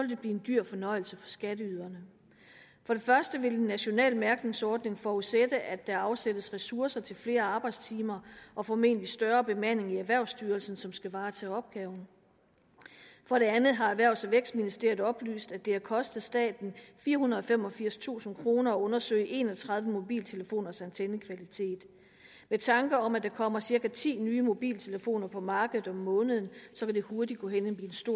det blive en dyr fornøjelse for skatteyderne for det første vil en national mærkningsordning forudsætte at der afsættes ressourcer til flere arbejdstimer og formentlig større bemanding i erhvervsstyrelsen som skal varetage opgaven for det andet har erhvervs og vækstministeriet oplyst at det har kostet staten firehundrede og femogfirstusind kroner at undersøge en og tredive mobiltelefoners antennekvalitet med tanke om at der kommer cirka ti nye mobiltelefoner på markedet om måneden vil det hurtigt gå hen